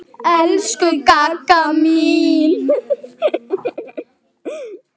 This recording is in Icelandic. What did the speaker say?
Elsku Gagga mín.